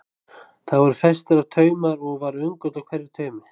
Þar voru festir á taumar og var öngull á hverjum taumi.